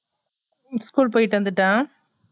school கு போயிட்டு வந்துட்டான்